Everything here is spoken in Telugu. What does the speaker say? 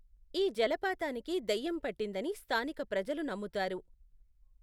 ఈ జలపాతానికి దెయ్యం పట్టిందని స్థానిక ప్రజలు నమ్ముతారు.